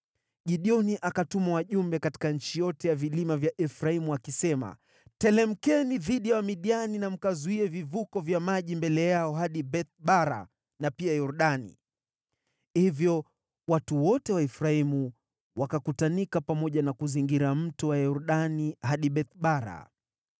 Gideoni akatuma wajumbe katika nchi yote ya vilima vya Efraimu akisema, “Teremkeni dhidi ya Wamidiani na mkazuie vivuko vya maji mbele yao hadi Beth-Bara na pia Yordani.” Hivyo watu wote wa Efraimu wakakutanika pamoja na kuzingira mto wa Yordani hadi Beth-Bara.